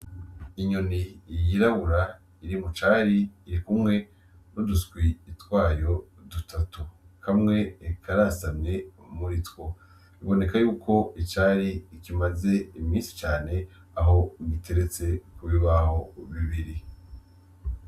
Inyoni yirabura iri mu cari irikumwe n'uduswi twayo dutatu, kamwe karasamye muri two. Biboneka y'uko icari kimaze imisi cane aho giteretse ku bibaho bibiri.